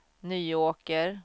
Nyåker